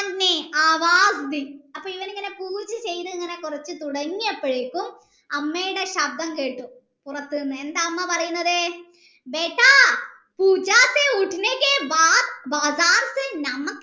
അപ്പോ ഇവനിങ്ങനെ പൂജ ചെയ്തു കൊറച്ചു തുടങ്ങിയപ്പോഴേക്കും അമ്മയുടെ ശബ്‌ദം കേട്ടു പുറത്തുനിന്ന് എന്താ അമ്മ പറയുന്നത്